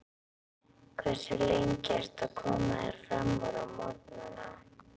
Hversu lengi ertu að koma þér framúr á morgnanna?